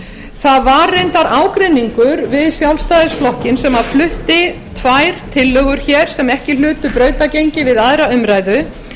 það var reyndar ágreiningur við sjálfstæðisflokkinn sem flutti tvær tillögur sem ekki hlutu brautargengi við aðra umræðu